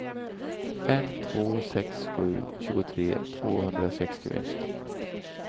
fem två sex sju tjugotre tvåhundrasextioett